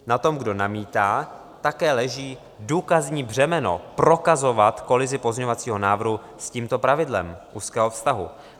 Na tom, kdo namítá, také leží důkazní břemeno prokazovat kolizi pozměňovacího návrhu s tímto pravidlem úzkého vztahu.